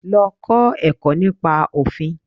Lọ kọ́ ẹ̀kọ́ nípa Òfin.